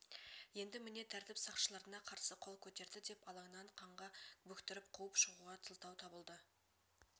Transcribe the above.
енді міне тәртіп сақшыларына қарсы қол көтерді деп алаңнан қанға бөктіріп қуып шығуға жақсы сылтау табылды